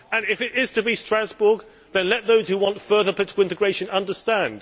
And if it is to be Strasbourg, then let those who want further integration understand.